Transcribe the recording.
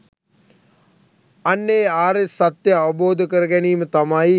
අන්න ඒ ආර්ය සත්‍යය අවබෝධ කරගැනීම තමයි